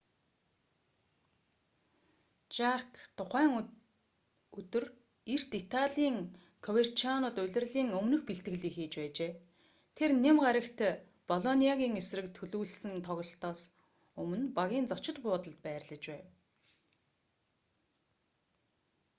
жарк тухайн өдөр эрт италийн коверчианод улирлын өмнөх бэлтгэлийг хийж байжээ тэр ням гарагт болониагийн эсрэг төлөвлөсөн тоглолтоос өмнө багийн зочид буудалд байрлаж байв